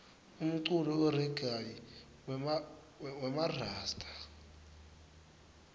umculo weregayi wemarasta